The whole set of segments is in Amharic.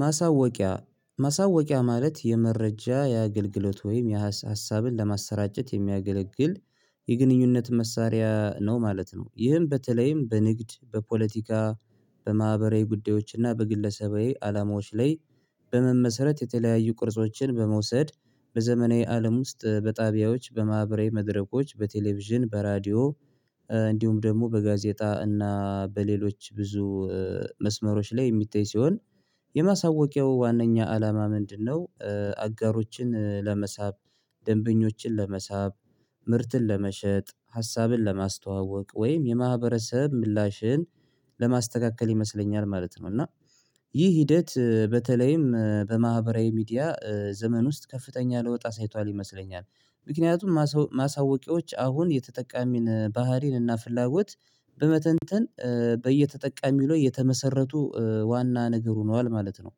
ማሳወቂያ ማሳወቂያ ማለት የመረጃ የአገልግለት ወይም ሀሳብን ለማሰራጨት የሚያገለግል የግንኙነት መሳሪያ ነው ማለት ነው ይህም በተለይም በንግድ በፖለቲካ በማህበራዊ ጉዳዮችና በግለሰባዊ አላማዎች ላይ በመመሰረት የተለያዩ ቅርጾችን በመውሰድ በዘመናዊ አለም ውስጥ በጣቢያዎች በማህበራዊ መድረኮች በቴሌቪዥን በራዲዮ እንዲሁም ደግሞ በጋዜጣ እና በሌሎች ብዙ መስመሮች ላይ የእሚታይ ሲሆን የማሳወቂያው ዋናኛ አላማ ምንድነው አጋሮችን ለመሳብ ደንበኞችን ለመሳብ ምርትን ለመሸጥ ሀሳብን ለማስተዋወቅ ወይም የማህበረሰብ ምላሽን ለማስተካከል ይመስለኛል ማለት ነው እና ይህ ሂደት በተለይም በማህበራዊ ሚዲያ ዘመን ውስጥ ከፍተኛ ለውጥ አሳይቷል ይመስለኛል ምክንያቱም ማሳወቂያዎች አሁን የተጠቃሚን ባህሪን እና ፍላጎት በመተንተን በየተጠቃሚው ላይ የተመሰረቱ ዋና ነገር ሆነዋል ማለት ነው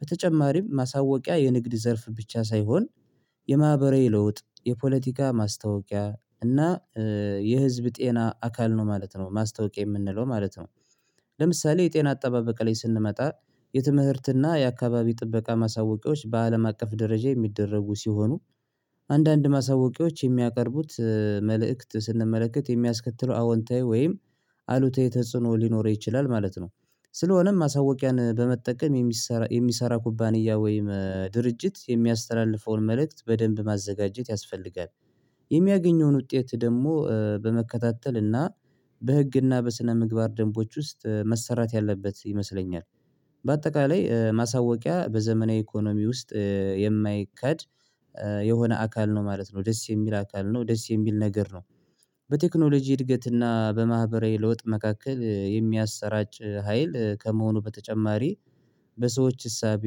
በተጨማሪም ማሳወቂያ የንግድ ዘርፍ ብቻ ሳይሆን የማህበራዊ ለውጥ የፖለቲካ ማስታወቂያ እና የህዝብ ጤና አካል ነው ማለት ነው ማስታወቂያ የምንለው ማለት ነው ለምሳሌ የጤ። ጨና አጠባበቀ ላይ ስንመጣ የትምህርትና የአካባቢ ጥበቃ ማሳወቂያዎች በአለም አቀፍ ደረጃ የሚደረጉ ሲሆኑ አንዳንድ ማሳወቂያዎች የሚያቀርቡት መልእክት ስንመለከት የሚያስከትለው አወንታዊ ወይም አሉታዊ ተጽዕኖ ሊኖር ይችላል ማለት ነው ስለሆነም ማሳወቂያን በመጠቀም የሚሰራ የሚሰራ ኩባንያ ወይም ድርጅት የሚያስተላልፈውን መልእክት በደንብ ማዘጋጀት ያስፈልጋል የሚያገኘውን ውጤት ደግሞ በመከታተል እና በህግና በስነምግባር ደንቦች ውስጥ መሰራት ያለበት ይመስለኛል በአጠቃላይ ማሳወቂያ በዘመናዊ ኢኮኖሚ ውስጥ የማይከኬጀ ዶየሆነ አካል ነው ማለት ነው ደስ የሚል አካል ነው ደስ የሚል ነገር ነው በቴክኖሎጂ እድገትና በማህበራዊ ለውጥ መካከል የሚያሰራጭ ሀይል ከመሆኑ በተጨማሪ በሰዎች እሳቤ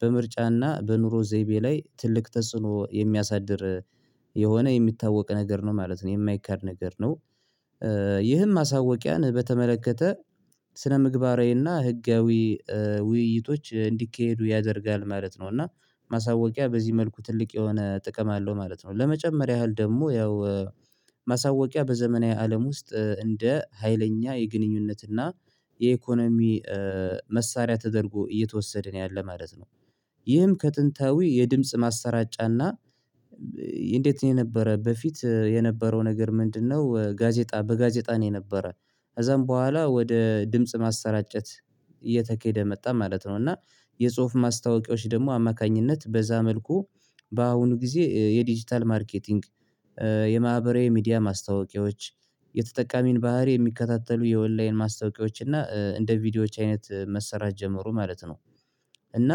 በምርጫና በኑሮ ዘይቤ ላይ ትልቅ ተጽዕኖ የሚያሳድር የሆነ የሚታወቅ ነገር ነው ማለት ነው የማይካድ ነገር ነው ይህም ማሳወቂያን በተመለከተ ስነ ምግባራናዊ አእና ህጋዊ ውይይቶች እንዲካሄዱ ያደርጋል ማለት ነው እና ማሳወቂያ በዚህ መልኩ ትልቅ የሆነ ጥቅም አለው ማለት ነው ለመጨመር ያህል ደግሞ ያው ማሳወቂያ በዘመናዊ አለም ውስጥ እንደ ሀይለኛ የግንኙነትና የኢኮኖሚ መሳሪያ ተደርጎ እየተወሰድን ነው ያለው ማለት ነው ይህም ከጥንታዊ የድምጽ ማሰራጫና እንዴት ነው የነበረ በፊት የነበረው ነገር ምንድነው ጋዜጣ በጋዜጣ ነው የነበረ ከዛም በኋላ ወደ ድምጽ ማሰራጨት እየተኬደ መጣ ማለት ነው እና የጽሁፍ ማስታወቂያዎች ደግሞ አማካኝነት በዛ መልኩ በአሁኑ ጊዜ የዲጂታል ማርኬቲንግ የማህበራዊ ሚዲያ ማስታወቂያዎች የተጠቃሚን ባህሪ የሚከታተሉ የወላይን ማስታወቂያዎች እና እንደ ቪዲዮዎች አይነት መሰራት ጀመሩ ማለት ነው እና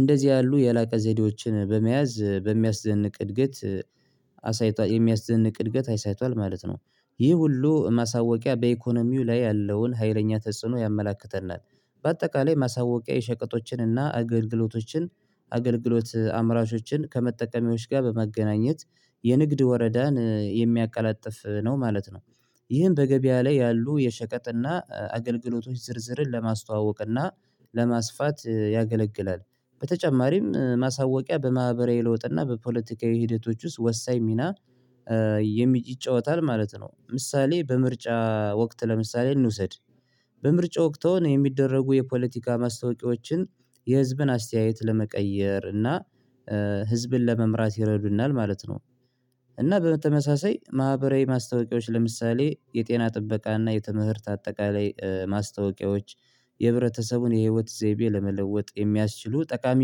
እንደዚህ ያሉ የላቀ ዘዴዎችን በመያዝ በሚያስደንቅ እድገት አሳይቷል የሚያስደንቅ እድገት አይሳይቷል ማለት ነው ይህ ሁሉ ማሳወቂያ በኢኮኖሚው ላይ ያለውን ሀይለኛ ተጽዕኖ ያመላክተናል በአጠቃላይ ማሳወቂያ የሸቀጦችን እና አገልግሎቶችን አገልግሎት አምራቾችን ከመጠቀሚዎች ጋር በመገናኘት የንግድ ወረዳን የሚያቀላጥፍ ነው ማለት ነው ይህን በገበያ ላይ ያሉ የሸቀጥና አገልግሎቶች ዝርዝርን ለማስተዋወቅና ለማስፋት ያገለግላል በተጨማሪም ማሳወቂያ በማህበራዊ ለውጥ እና በፖለቲካዊ ሂደቶች ውስጥ ወሳኝ ሚና ይጫወታል ማለት ነው ምሳሌ በምርጫ ወቅት ለምሳሌ እንውሰድ በምርጫ ወቅት የሚደረጉ የፖለቲካ ማስታወቂያዎችን የህዝብን አስተያየት ለመቀየር እና ህዝብን ለመምራት ይረዱናል ማለት ነው እና በተመሳሳይ ማህበራዊ ማስታወቂያዎች ለምሳሌ የጤና ጥበቃ እና የተምህርት አጠቃላይ ማስታወቂያዎች የህብረተሰቡን የህይወት ዘይቤ ለመለወጥ የሚያስችሉ ጠቃሚ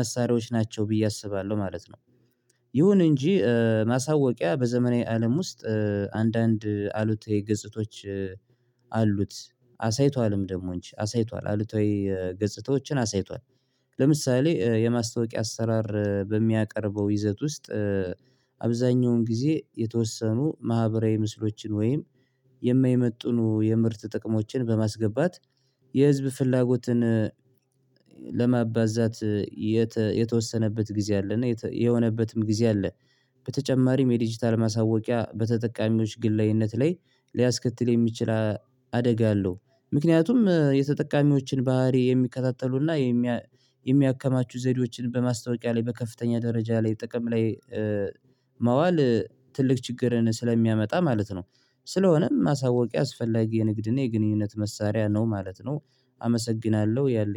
መሳሪያዎች ናቸው ብዬ አስባለሁ ማለት ነው ይሁን እንጂ ማስታወቂያ በዘመናዊ አለም ውስጥ አንዳንድ አሉታዊ ገጽታዎች አሉት አሳይቷልም ደግሞ እንጂ አሳይቷል አሉታዊ ወይ ገጽታዎችን አሳይቷል ለምሳሌ የማስታወቂያ አሰራር በሚያቀርበው ይዘት ውስጥ አብዛኛውን ጊዜ የተወሰኑ ማህበራዊ ምስሎችን ወይም የማይመጡኑ የምርት ጥቅሞችን በማስገባት የህዝብ ፍላጎትን ለማባዛት የተወሰነበት ጊዜ አለና የሆነበትም ጊዜ አለ በተጨማሪም የዲጂታል ማስታወቂያ በተጠቃሚዎች ግላዊነት ላይ ሊያስከትል የሚችል አደጋ አለው ምክንያቱም የተጠቃሚዎችን ባህሪ የሚከታተሉና የሚያከማቹ ዘይዶችን በማስታወቂያ ላይ በከፍተኛ ደረጃ ላይ ጥቅም ላይ ማዋል ትልቅ ችግርን ስለሚያመጣ ማለት ነው ስለሆነም ማስታወቂያ አስፈላጊ የንግድን የግንኙነት መሳሪያ ነው ማለት ነው አመሰግናለሁ ያለኝ